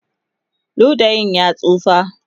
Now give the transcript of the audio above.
ludayin ya tsufa